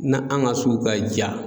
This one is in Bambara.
Na an ka sugu ka diya.